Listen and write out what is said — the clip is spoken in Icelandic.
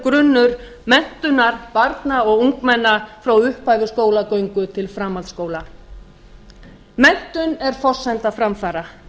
grunnur menntunar barna og ungmenna frá upphafi skólagöngu til framhaldsskóla menntun er forsenda framfara